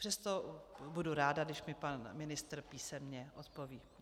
Přesto budu ráda, když mi pan ministr písemně odpoví.